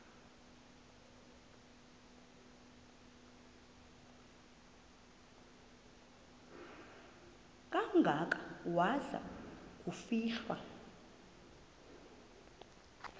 kangaka waza kufihlwa